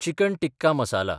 chicken tikka masala